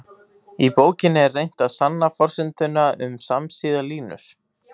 Í bókinni er reynt að sanna forsenduna um samsíða línur.